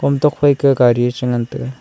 thokphe kia gari chia ngan tega.